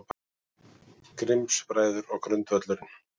Grimms-bræður og grundvöllurinn